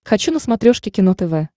хочу на смотрешке кино тв